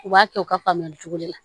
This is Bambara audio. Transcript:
U b'a kɛ u ka faamuyali cogo de la